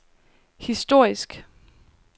historisk